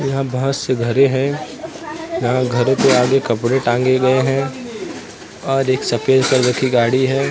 यहां बहुत से घरें हैं यहां घरों के आगे कपड़े टांगे गए हैं और एक सफेद कलर की गाड़ी है।